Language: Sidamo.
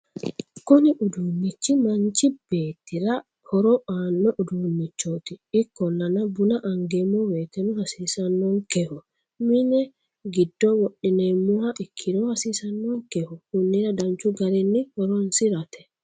Kunni udinnich maanichi betirra horro anoo udinnichot ikkollana bunna anigeemo woyteno hasissanookeho mini gidoo wodhine'moha ikkirrono hasissanokeho konnirra danichu garrinni horrosirate